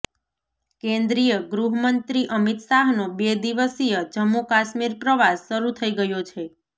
કેન્દ્રીય ગૃહમંત્રી અમિત શાહનો બે દિવસીય જમ્મુ કાશ્મીર પ્રવાસ શરૂ થઇ ગયો છે